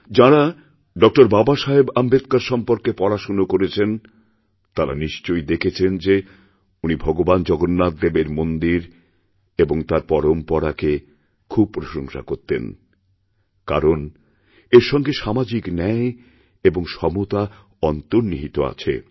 যাঁরা ড বাবাসাহেব আম্বেদকর সম্পর্কে পড়াশোনা করেছেন তাঁরা নিশ্চয় দেখেছেন যেউনি ভগবান জগন্নাথদেবের মন্দির এবং তার পরম্পরাকে খুব প্রশংসা করতেন কারণ এরসঙ্গে সামাজিক ন্যায় এবং সমতা অন্তর্নিহিত আছে